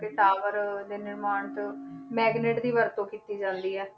ਕਿ tower ਦੇ ਨਿਰਮਾਣ ਤੋਂ magnet ਦੀ ਵਰਤੋਂ ਕੀਤੀ ਜਾਂਦੀ ਹੈ।